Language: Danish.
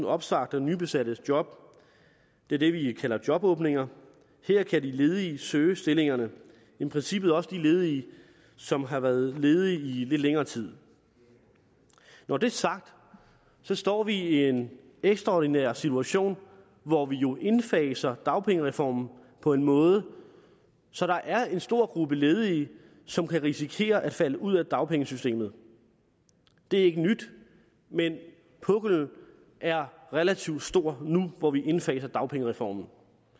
opsagte og nybesatte job det er det vi kalder jobåbninger her kan de ledige søge stillingerne i princippet også de ledige som har været ledige i lidt længere tid når det er sagt så står vi i en ekstraordinær situation hvor vi jo indfaser dagpengereformen på en måde så der er en stor gruppe ledige som kan risikere at falde ud af dagpengesystemet det er ikke nyt men puklen er relativt stor nu hvor vi indfaser dagpengereformen